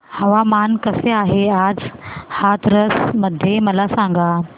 हवामान कसे आहे आज हाथरस मध्ये मला सांगा